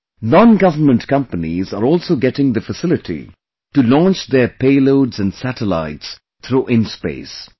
Nongovernment companies are also getting the facility to launch their payloads and satellites through INSPACe